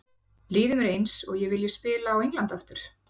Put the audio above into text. Líður mér eins og ég vilji spila á Englandi aftur?